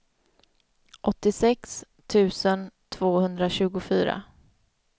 åttiosex tusen tvåhundratjugofyra